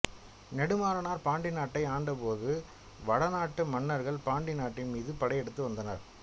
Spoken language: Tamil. நெடுமாறனார் பாண்டிநாட்டை ஆண்ட போது வடநாட்டு மன்னர்கள் பாண்டி நாட்டின் மீது படையெடுத்து வந்தனர்